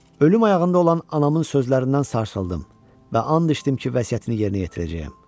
Ölüm ayağında olan anamın sözlərindən sarsıldım və an içdim ki, vəsiyyətini yerinə yetirəcəyəm.